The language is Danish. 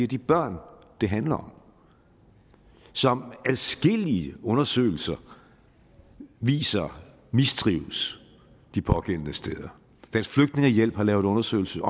de børn det handler om som adskillige undersøgelser viser mistrives de pågældende steder dansk flygtningehjælp har lavet undersøgelser